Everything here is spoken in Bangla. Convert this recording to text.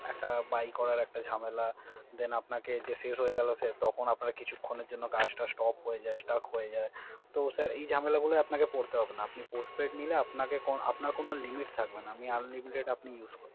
Data Buy করার একটা ঝামেলা Then শেষ হয়ে গেল তখন আপনার কিছুখনের জন্য কাজটাজ সব Stop হয়ে যায়। তো এই ঝামেলা গুলো পরতে হবে না। আপনি Postpaid নিলে আপনার কোন Limit থাকবে না আপনি Unlimited আপনি Use করতে পারবেন।